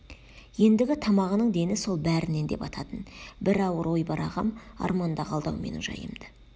ендігі тамағының дені сол бәрінен де бататын бір ауыр ой бар ағам арманда қалды-ау менің жайымды